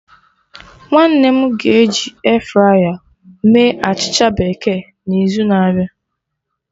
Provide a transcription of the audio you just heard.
Nwanne m ga eji airfryer mee achịcha bekee n'izu na-abịa